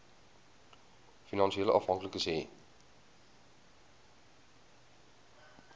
finansiële afhanklikes hê